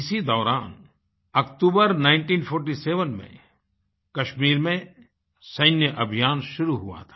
इसी दौरान अक्तूबर 1947 में कश्मीर में सैन्य अभियान शुरू हुआ था